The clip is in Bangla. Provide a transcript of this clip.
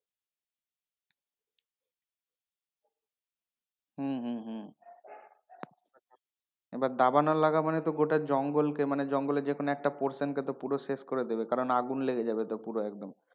হম হম হম এবার দাবানল লাগা মানে তো গোটা জঙ্গলকে মানে জঙ্গলের যে কোন একটা portion কে তো পুরো শেষ করে দেবে কারণ আগুন লেগে যাবে তো পুরো একদম,